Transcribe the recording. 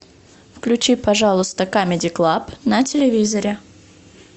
включи пожалуйста камеди клаб на телевизоре